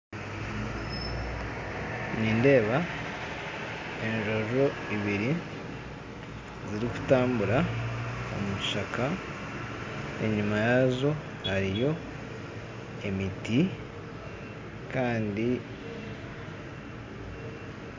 Nindeeba enjojo ibiri zirikutambura omu kishaka enyuma yazo hariyo emiti kandi